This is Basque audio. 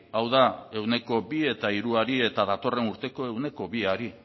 hau da ehuneko bi eta hiruari eta datorren urteko ehuneko biari